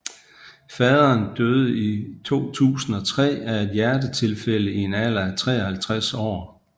Faderen døde i 2003 af et hjertetilfælde i en alder af 53 år